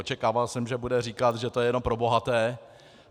Očekával jsem, že bude říkat, že to je jenom pro bohaté.